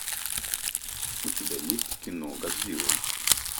у тебя есть кино годзилла